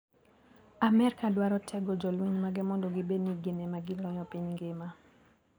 Amerka dwaro tego jolweny mage mondo gibed ni ginemagiloyo piny ngima.